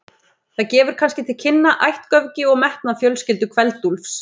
Það gefur kannski til kynna ættgöfgi og metnað fjölskyldu Kveld-Úlfs.